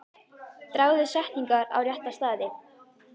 Dragðu setningar á rétta staði.